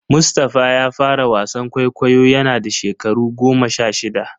Mustapha ya fara wasan kwaikwayo yana da shekaru goma sha shida.